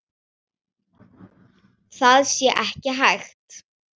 Það sé ekki hægt.